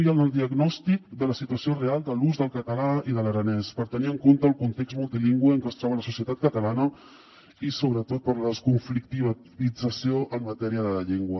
i en el diagnòstic de la situació real de l’ús del català i de l’aranès per tenir en compte el context multilingüe en que es troba la societat catalana i sobretot per la desconflictivització en matèria de llengua